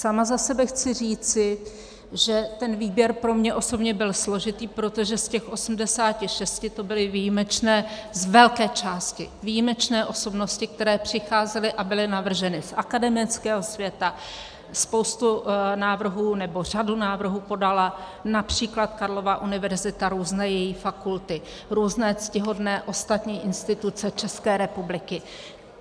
Sama za sebe chci říci, že ten výběr pro mě osobně byl složitý, protože z těch 86 to byly výjimečné, z velké části výjimečné osobnosti, které přicházely a byly navrženy z akademického světa, spoustu návrhů, nebo řadu návrhů, podala například Karlova univerzita, různé její fakulty, různé ctihodné ostatní instituce České republiky.